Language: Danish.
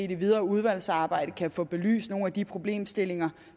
det videre udvalgsarbejde kan få belyst nogle af de problemstillinger